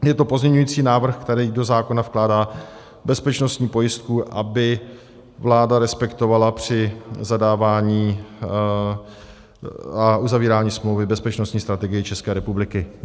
Je to pozměňovací návrh, který do zákona vkládá bezpečnostní pojistku, aby vláda respektovala při zadávání a uzavírání smlouvy Bezpečnostní strategii České republiky.